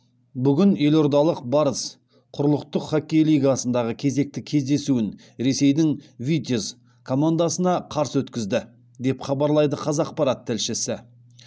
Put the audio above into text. бүгін елордалық барыс құрлықтық хоккей лигасындағы кезекті кездесуін ресейдің витязь командасына қарсы өткізді деп хабарлайды қазақпарат тілшісі